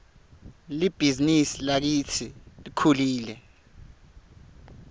libhizinisi lakitsi lkhulile